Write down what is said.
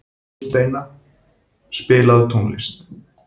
Sigursteina, spilaðu tónlist.